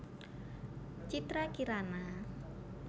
Citra Kirana